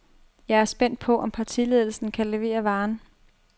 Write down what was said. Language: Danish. Jeg er spændt på, om partiledelsen kan levere varen.